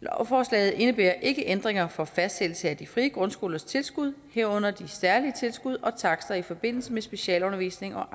lovforslaget indebærer ikke ændringer for fastsættelse af de frie grundskolers tilskud herunder de særlige tilskud og takster i forbindelse med specialundervisning og